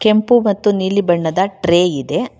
ಕೆಂಪು ಮತ್ತು ನೀಲಿ ಬಣ್ಣದ ಟ್ರೇ ಇದೆ.